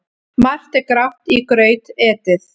Margt er grátt í graut etið.